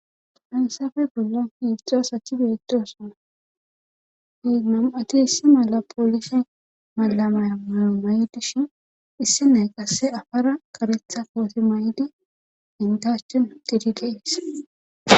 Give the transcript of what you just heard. Haysappe bollan hedzdzu asati betosona, nam'ati polise mayo mayi dishn issinas qase apara karetha kote mayid enta achani utid Des.